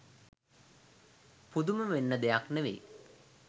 පුදුම වෙන්න දෙයක් නෙවෙයි